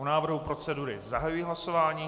O návrhu procedury zahajuji hlasování.